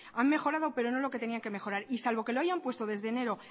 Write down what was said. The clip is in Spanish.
han mejorado pero no lo que tenían que mejorar y salvo que lo hayan puesto desde enero